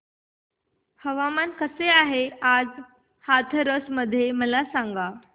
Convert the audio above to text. हवामान कसे आहे आज हाथरस मध्ये मला सांगा